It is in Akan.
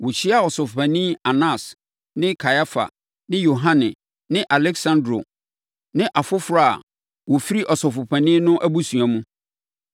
Wɔhyiaa Ɔsɔfopanin Anas ne Kaiafa ne Yohane ne Aleksandro ne afoforɔ a wɔfiri Ɔsɔfopanin no abusua mu.